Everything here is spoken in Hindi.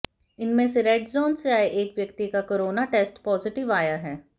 इनमें से रेड जोन से आए एक व्यक्ति का कोरोना टेस्ट पॉजिटिव आया है